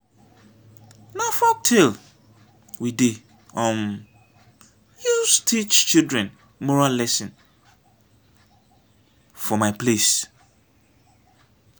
na folktale we dey um use teach children moral lesson for my place.